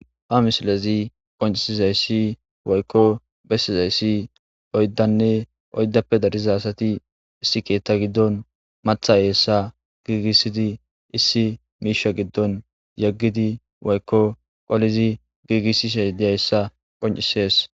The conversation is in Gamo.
ha misilezi qoncisizayssi woykko bessizayssi oyddanne oyddappe dariza asati issi keetta giddon matha yeessa giigissidi issi miisha giddon yeggidi woykko qolizi giigissi sha diyayssa qoncisees